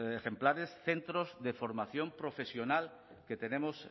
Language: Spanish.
ejemplares centros de formación profesional que tenemos